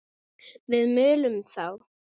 Við mölum þá!